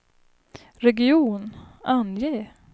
region, ange